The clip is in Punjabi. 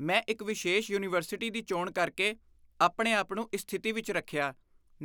ਮੈਂ ਇੱਕ ਵਿਸ਼ੇਸ਼ ਯੂਨੀਵਰਸਿਟੀ ਦੀ ਚੋਣ ਕਰਕੇ ਆਪਣੇ ਆਪ ਨੂੰ ਇਸ ਸਥਿਤੀ ਵਿੱਚ ਰੱਖਿਆ